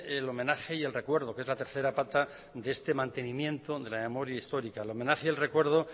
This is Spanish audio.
el homenaje y el recuerdo que es la tercera pata de este mantenimiento de la memoria histórica el homenaje y el recuerdo